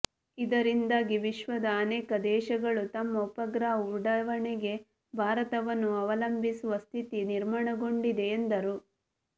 ಇದರಿಂದಾಗಿ ವಿಶ್ವದ ಅನೇಕ ದೇಶಗಳು ತಮ್ಮ ಉಪಗ್ರಹ ಉಡಾವಣೆಗೆ ಭಾರತವನ್ನು ಅವಲಂಬಿಸುವ ಸ್ಥಿತಿ ನಿರ್ಮಾಣಗೊಂಡಿದೆ ಎಂದರು